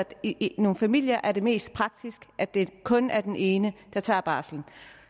det i nogle familier er mest praktisk at det kun er den ene der tager barselen